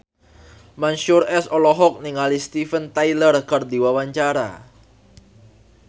Mansyur S olohok ningali Steven Tyler keur diwawancara